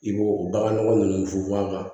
I b'o o bagan nɔgɔ ninnu funfun a kan